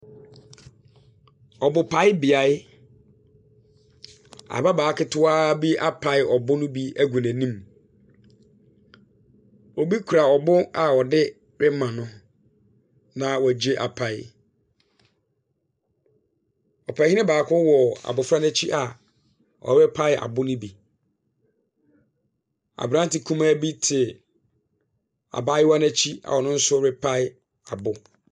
Ɔbopaebea, ababaawa ketewa bi apae ɔbo no bi agu n'anim. Obi kura ɔbo no bi a ɔde rema no na wagye apae. Ɔpanin baako wɔ abofra no akyi a ɔrepae abo no bi. Aberante kumaa bi te abaayewa no akyi a ɔno nso repae abo.